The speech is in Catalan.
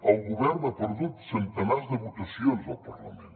el govern ha perdut centenars de votacions al parlament